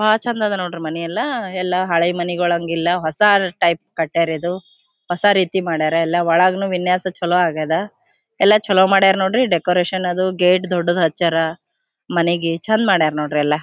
ಬಹಳ ಚಂದ್ ಅದ ನೋಡ್ರಿ ಮನೆ ಎಲ್ಲ ಹಳೆ ಮನೆ ಗಳಾಗಿಲ್ಲ ಹೊಸ ಟೈಪ್ ಕಟ್ಟೆಯರ ಇದು ಹೊಸ ರೀತಿ ಮಾಡ್ಯಾರ ಒಳಗುನು ವಿನ್ಯಾಸ ಚಲೋ ಆಗ್ಯದ ಎಲ್ಲ ಚಲೋ ಮಾಡ್ಯಾರ ನೋಡ್ರಿ ಡೆಕೋರೇಷನ್ ಅದು ಗೇಟ್ ದೊಡ್ಡದ್ ಹಚ್ಯಾರ ಎಲ್ಲ ಚಂದ ಮಾಡ್ಯಾರ ನೋಡ್ರಿ ಎಲ್ಲ.